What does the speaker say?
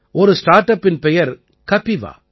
ஒரு ஸ்டார்ட் அப்பின் பெயர் கபிவா